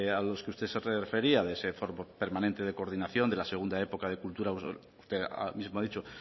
a los que usted se refería de ese fondo permanente de coordinación de la segunda época de cultura usted mismo ha dicho